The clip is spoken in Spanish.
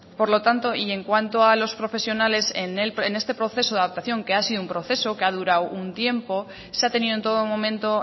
por lo tanto y en cuanto a los profesionales en este proceso de adaptación que ha sido un proceso que ha durado un tiempo se ha tenido en todo momento